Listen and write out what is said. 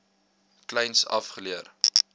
kleins af geleer